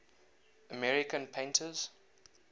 american painters